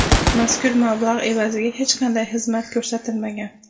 Mazkur mablag‘ evaziga hech qanday xizmat ko‘rsatilmagan.